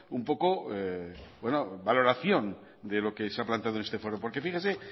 un poco la valoración de lo que se ha planteado en este foro porque fíjese